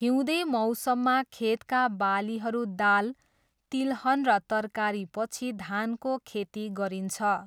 हिउँदे मौसममा खेतका बालीहरू दाल, तिलहन र तरकारीपछि धानको खेती गरिन्छ।